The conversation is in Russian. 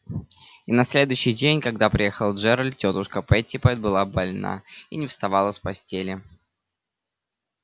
и на следующий день когда приехал джералд тётушка питтипэт была больна и не вставала с постели